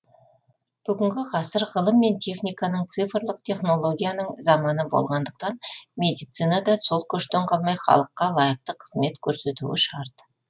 бүгінгі ғасыр ғылым мен техниканың цифрлық технологияның заманы болғандықтан медицина да сол көштен қалмай халыққа лайықты қызмет көрсетуі шарт